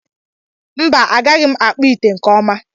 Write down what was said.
mba, agaghị m akpụ ite nke ọma